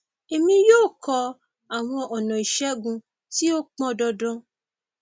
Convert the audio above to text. èmi yóò kọ àwọn ọnà ìṣègùn tí ó pọn dandan